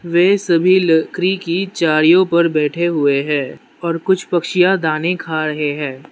वे सभी लकरी की चारियो पर बैठे हुए हैं और कुछ पक्षिया दाने खा रहे हैं।